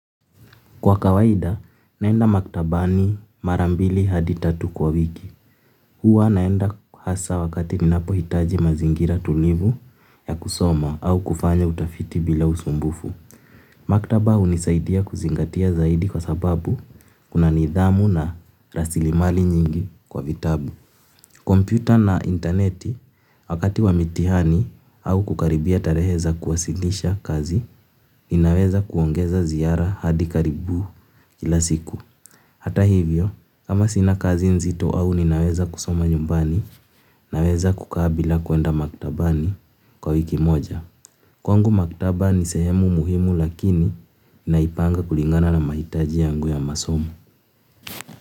Kwa kawaida, naenda maktabani marambili hadi tatu kwa wiki. Hua naenda hasa wakati ninapo hitaji mazingira tulivu ya kusoma au kufanya utafiti bila usumbufu. Maktaba unisaidia kuzingatia zaidi kwa sababu kuna nidhamu na rasilimali nyingi kwa vitabu. Kompyuta na interneti wakati wamitihani au kukaribia tarehe za kuwasilisha kazi, ninaweza kuongeza ziara hadi karibu kila siku. Hata hivyo, kama sina kazi nzito au ni naweza kusoma nyumbani naweza kukaa bila kwenda maktabani kwa wiki moja. Kwangu maktabani sehemu muhimu lakini naipanga kulingana na mahitaji yangu ya masomo.